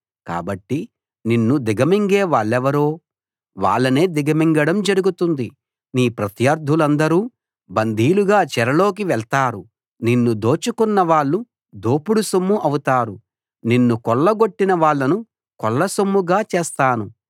కాబట్టి నిన్ను దిగమింగే వాళ్ళెవరో వాళ్ళనే దిగమింగడం జరుగుతుంది నీ ప్రత్యర్దులందరూ బందీలుగా చెరలోకి వెళ్తారు నిన్ను దోచుకున్నవాళ్ళు దోపుడు సొమ్ము అవుతారు నిన్ను కొల్లగొట్టిన వాళ్ళను కొల్లసొమ్ముగా చేస్తాను